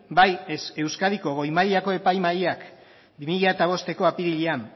bai euskadiko goi mailako epaimahaiak bi mila bosteko apirilean